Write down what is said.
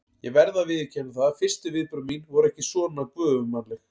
Ég verð að viðurkenna það að fyrstu viðbrögð mín voru ekki svona göfugmannleg.